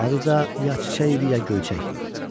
Adı da ya çiçək idi, ya göyçək.